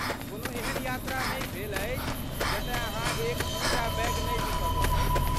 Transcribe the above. कोनो एहन यात्रा नहि भेल अछि जतय अहाँ एक दू टा बैग नहि बिसरलहुँ अछि।